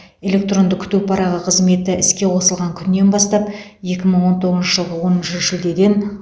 электронды күту парағы қызметі іске қосылған күннен бастап екі мың он тоғызыншы жылғы оныншы шілдеден